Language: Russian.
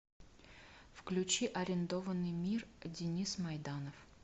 включи арендованный мир денис майданов